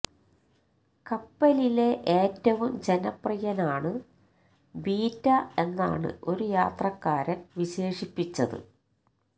കപ്പലിലെ ഏറ്റവും ജനപ്രിയനാണ് ബിറ്റാ എന്നാണ് ഒരു യാത്രക്കാരന് വിശേഷിപ്പിച്ചത്